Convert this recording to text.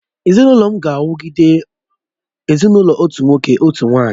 Ezinụlọ m ga-awugide ezinụlọ otu nwoke, otu nwanyị